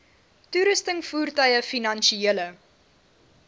toerusting voertuie finansiële